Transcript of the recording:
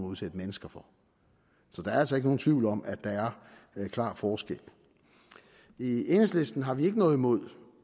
udsætte mennesker for så der er altså ikke nogen tvivl om at der er en klar forskel i enhedslisten har vi ikke noget imod